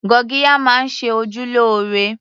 Gurgiya máa ń ṣe ojú lóore